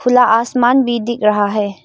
खुला आसमान भी दिख रहा है।